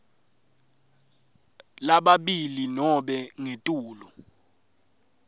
lababili nobe ngetulu